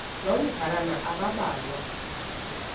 loo madlalana ambalwa